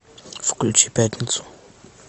включи пятницу